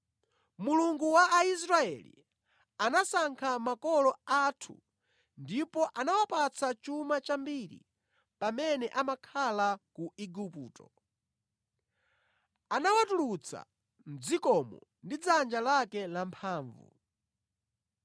Mulungu wa Aisraeli anasankha makolo athu ndipo anawapatsa chuma chambiri pamene amakhala ku Igupto. Anawatulutsa mʼdzikomo ndi dzanja lake lamphamvu.